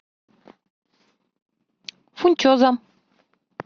фунчоза